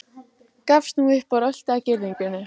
Gafst nú upp og rölti að girðingunni.